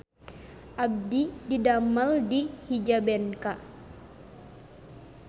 Abdi didamel di Hijabenka